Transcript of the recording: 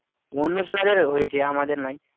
অন্য জনদের হয়েছে আমাদের নাই